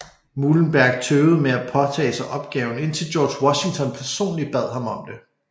Muhlenberg tøvede med at påtage sig opgaven indtil George Washington personligt bad ham om det